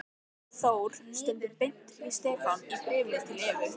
Þór stundum beint við Stefán í bréfum til Evu.